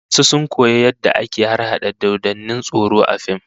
Wasu sun koyo yadda ake harhada dodannin tsoro A fim